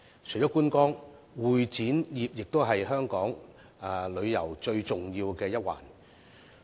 除了觀光，會展業同樣是香港旅遊最重要的一環。